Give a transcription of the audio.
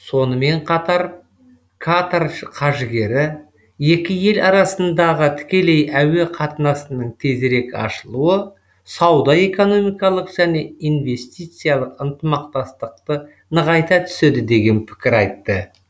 сонымен қатар катар қаржыгері екі ел арасындағы тікелей әуе қатынасының тезірек ашылуы сауда экономикалық және инвестициялық ынтымақтастықты нығайта түседі деген пікір айтты